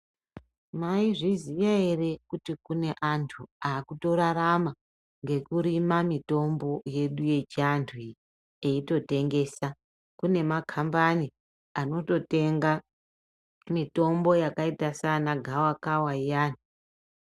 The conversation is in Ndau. Maizviziya ere kuti kune antu akutorarama ngekurima mitombo yedu yechiantu iyi. Eitotengesa kunemakambani anototenga mitombo yakaita sana gavakava iyani.